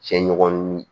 Cɛ ɲɔgɔn